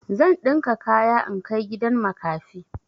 Zan ɗinka kaya in kai gidan makafi.